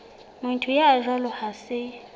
motho ya jwalo ha se